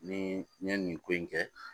Ni n ye nin ko in kɛ